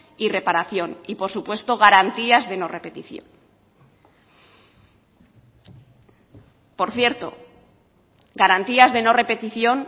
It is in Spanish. y reparación y por supuesto garantías de no repetición por cierto garantías de no repetición